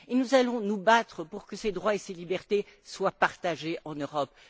Nous allons nous battre pour que ces droits et ces libertés soient partagés en Europe.